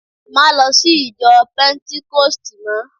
ma lo sí ìjọ pentikosti mo